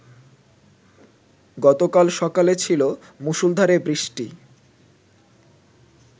গতকাল সকালে ছিল মুষলধারে বৃষ্টি